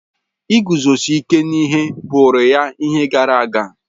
Iguzosi ike n'ihe bụụrụ ya ihe gara aga.